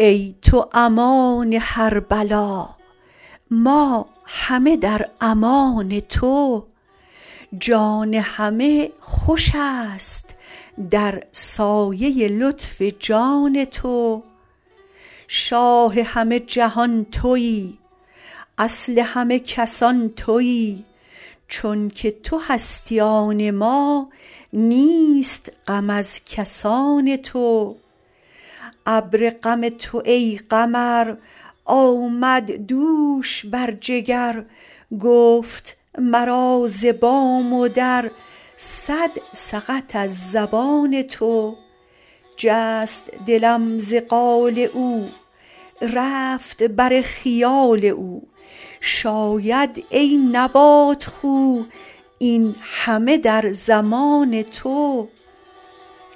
ای تو امان هر بلا ما همه در امان تو جان همه خوش است در سایه لطف جان تو شاه همه جهان تویی اصل همه کسان تویی چونک تو هستی آن ما نیست غم از کسان تو ابر غم تو ای قمر آمد دوش بر جگر گفت مرا ز بام و در صد سقط از زبان تو جست دلم ز قال او رفت بر خیال او شاید ای نبات خو این همه در زمان تو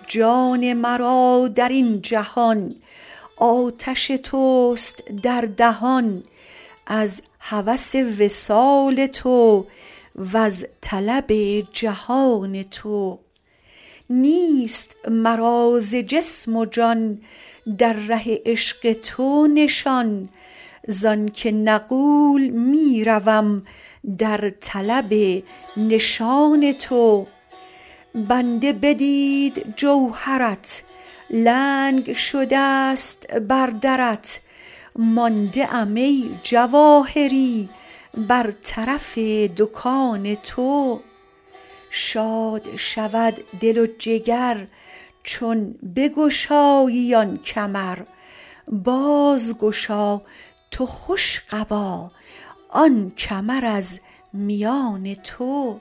جان مرا در این جهان آتش توست در دهان از هوس وصال تو وز طلب جهان تو نیست مرا ز جسم و جان در ره عشق تو نشان زآنک نغول می روم در طلب نشان تو بنده بدید جوهرت لنگ شده ست بر درت مانده ام ای جواهری بر طرف دکان تو شاد شود دل و جگر چون بگشایی آن کمر بازگشا تو خوش قبا آن کمر از میان تو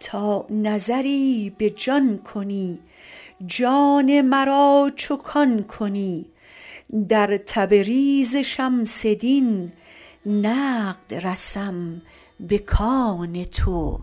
تا نظری به جان کنی جان مرا چو کان کنی در تبریز شمس دین نقد رسم به کان تو